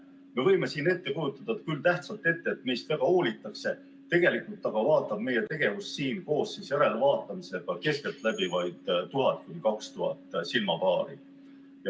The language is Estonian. Me võime küll tähtsalt ette kujutada, et meist väga hoolitakse, tegelikult aga vaatab meie tegevust siin koos järelvaatamisega keskeltläbi vaid 1000–2000 silmapaari.